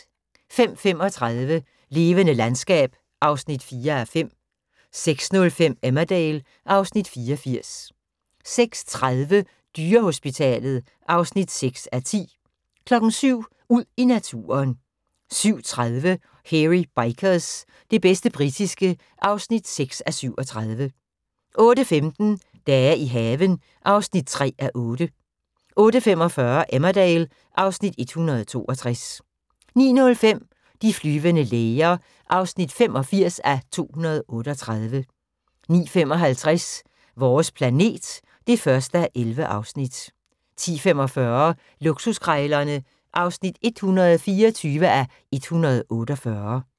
05:35: Levende landskab (4:5) 06:05: Emmerdale (Afs. 84) 06:30: Dyrehospitalet (6:10) 07:00: Ud i naturen 07:30: Hairy Bikers – det bedste britiske (6:37) 08:15: Dage i haven (3:8) 08:45: Emmerdale (Afs. 162) 09:05: De flyvende læger (85:238) 09:55: Vores planet (1:11) 10:45: Luksuskrejlerne (124:148)